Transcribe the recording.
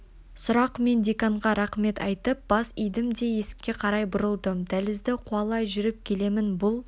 сұрақ мен деканға рақмет айтып бас идім де есікке қарай бұрылдым дәлізді қуалай жүріп келемін бұл